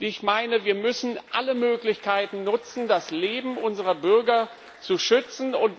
Ich meine, wir müssen alle Möglichkeiten nutzen, das Leben unserer Bürger zu schützen.